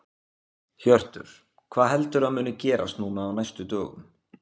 Hjörtur: Hvað heldurðu að muni gerast núna á næstu dögum?